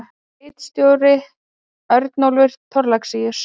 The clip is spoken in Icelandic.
Ritstjóri: Örnólfur Thorlacius.